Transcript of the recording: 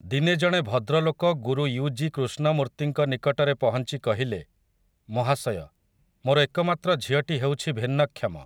ଦିନେ ଜଣେ ଭଦ୍ରଲୋକ ଗୁରୁ ୟୁ. ଜି. କୃଷ୍ଣମୂର୍ତ୍ତିଙ୍କ ନିକଟରେ ପହଁଚି କହିଲେ, ମହାଶୟ, ମୋର ଏକମାତ୍ର ଝିଅଟି ହେଉଛି ଭିନ୍ନକ୍ଷମ ।